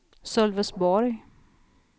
Sölvesborg